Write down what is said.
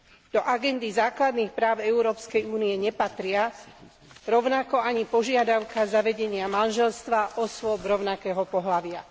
Do agendy základných práv Európskej únie nepatria, rovnako ani požiadavka zavedenia manželstva osôb rovnakého pohlavia.